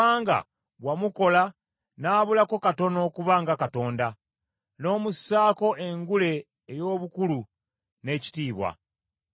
Kubanga wamukola n’abulako katono okuba nga Katonda; n’omussaako engule ey’obukulu n’ekitiibwa.